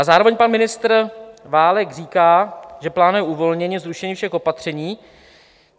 A zároveň pan ministr Válek říká, že plánuje uvolnění, zrušení všech opatření.